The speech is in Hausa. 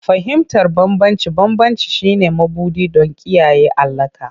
Fahimtar bambance-bambance shine mabuɗi don kiyaye alaƙa.